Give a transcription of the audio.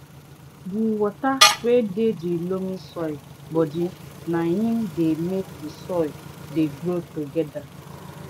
di water wey dey de loamy soil bodi na im dey make di crops dey grow togeda